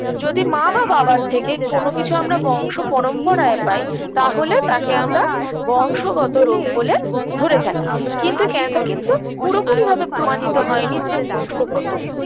যদি মা বা বাবার থেকে কোনকিছু আমরা বংশপরম্পরায় পাই তাহলে তাকে আমরা বংশগত রোগ বলে ধরে থাকি কিন্তু cancer কিন্তু পুরোপুরি ভাবে প্রমাণিত হয়নি যে বংশগত